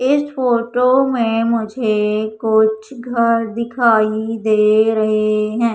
इस फोटो में मुझे कुछ घर दिखाई दे रहे हैं।